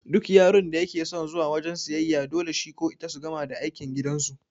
Duk yaron da yake son zuwa wajan siyayya to dole shi ko ita su gama aikin gidan su